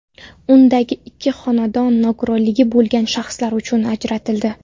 Undagi ikki xonadon nogironligi bo‘lgan shaxslar uchun ajratildi.